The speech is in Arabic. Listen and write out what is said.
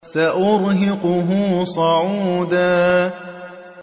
سَأُرْهِقُهُ صَعُودًا